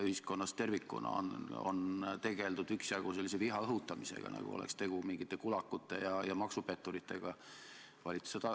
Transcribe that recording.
Ühiskonnas tervikuna kuni valitsuseni välja on tegeldud üksjagu viha õhutamisega, nagu oleks tegu mingite kulakute ja maksupetturitega.